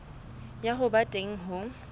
ya ho ba teng ho